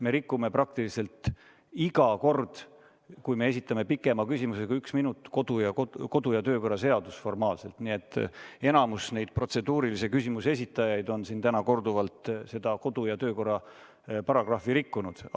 Me rikume praktiliselt iga kord, kui me esitame pikema küsimuse kui üks minut, kodu- ja töökorra seadust formaalselt, nii et enamik neid protseduurilise küsimuse esitajaid on siin täna korduvalt seda kodu- ja töökorra paragrahvi rikkunud.